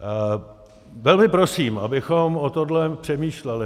Velmi prosím, abychom o tomto přemýšleli.